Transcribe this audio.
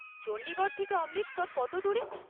চণ্ডীগড় থেকে অমৃতসর কত দূর?